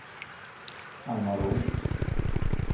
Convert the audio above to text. Alma Roth